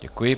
Děkuji.